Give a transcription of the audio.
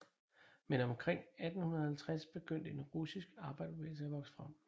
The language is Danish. Men omkring 1850 begyndte en russisk arbejderbevægelse at vokse frem